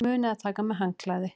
Munið að taka með handklæði!